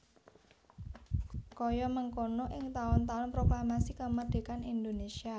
Kaya mengkana ing taun taun Proklamasi Kamardhékan Indonésia